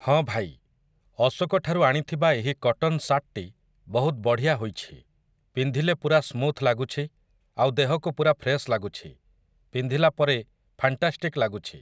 ହଁ, ଭାଇ! ଅଶୋକ ଠାରୁ ଆଣିଥିବା ଏହି କଟନ୍ ସାର୍ଟଟି ବହୁତ ବଢ଼ିଆ ହୋଇଛି । ପିନ୍ଧିଲେ ପୁରା ସ୍ମୁଥ୍ ଲାଗୁଛି ଆଉ ଦେହକୁ ପୁରା ଫ୍ରେସ୍ ଲାଗୁଛି । ପିନ୍ଧିଲାପରେ ଫାଣ୍ଟାଷ୍ଟିକ୍ ଲାଗୁଛି ।